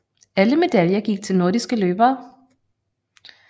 Alle medaljer gik til nordiske løbere